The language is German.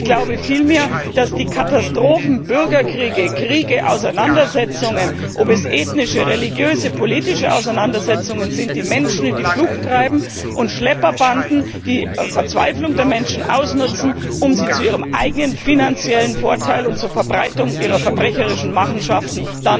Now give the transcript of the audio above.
Ich glaube vielmehr, dass die Katastrophen, Bürgerkriege, Kriege, Auseinandersetzungen ob es ethnische, religiöse oder politische Auseinandersetzungen sind die Menschen in die Flucht treiben und Schlepperbanden die Verzweiflung der Menschen zu ihrem eigenen finanziellen Vorteil und zur Verbreitung ihrer verbrecherischen Machenschaften